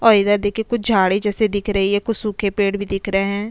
और इधर देखे कुछ झाड़ी जैसे दिख रही है कुछ सूखे पेड़ भी दिख रहे है।